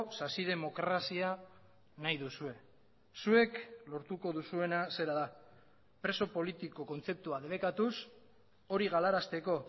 sasi demokrazia nahi duzue zuek lortuko duzuena zera da preso politiko kontzeptua debekatuz hori galarazteko